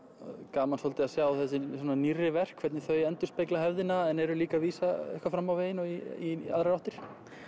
gaman svolítið að sjá þessi svona nýrri verk hvernig þau endurspegla hefðina en eru líka að vísa eitthvað fram á veginn og í aðrar áttir